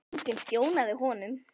En enginn þjónaði honum.